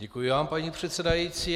Děkuji vám, paní předsedající.